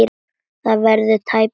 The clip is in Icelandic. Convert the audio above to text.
Það verður tæpast betra.